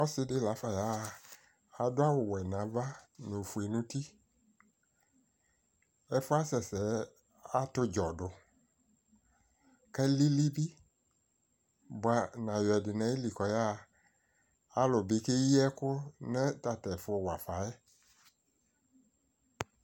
Ɔsɩdɩ lafa yaɣa, adʋ awʋwɛ n'ava , n'ofue n'uti Ɛfʋɛ asɛ sɛɛ at'ɔdzɔdʋ k'alili bɩ bʋa, n'ayɔ ɛdɩ n'ayili k'ɔyaɣa Alʋ bɩ keyi ɛkʋ nʋ tatɛfʋ wafa yɛ